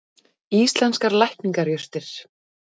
Íslenskar lækningajurtir.